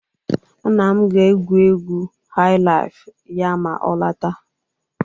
nna m ga-egwu egwu highlife ya ma ọ lọta